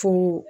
Fo